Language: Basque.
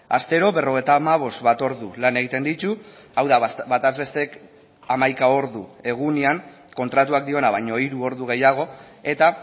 astero berrogeita hamabost bat ordu lan egiten ditu hau da bataz bestek hamaika ordu egunean kontratuak diona baino hiru ordu gehiago eta